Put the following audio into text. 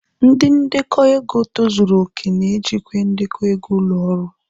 Ndi ndekọ ego tozuru oke na-ejikwa ndekọ ego ụlọ ọrụ.